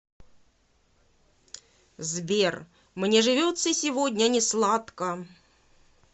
сбер мне живется сегодня не сладко